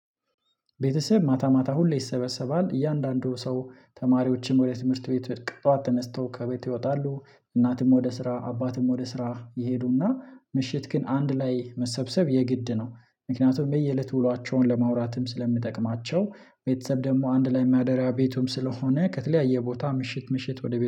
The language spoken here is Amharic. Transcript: ቤተሰብ ማታ ማታ ሁሌ ይሰበሰባል እያንዳንዱ ሰው ተማሪዎችን ወደ ትምህርት ቤት በጥዋት ተነስተው ከቤት ይወጣሉ እናትም ወደ ስራ አባትም ወደ ስራ ይሄዱና ምሽት ግን አንድ ላይ መሰብሰብ የግድ ነው። ምክንያቱም በየእለቱ ውሏቸውን ለማውራትም ስለሚጠቅማቸው ቤተሰብ ደግሞ አንድ ላይ ማደሪያ ቤቱም ስለሆነ ከተለያየ ቦታ ምሽት ምሽት ወደ ቤቱ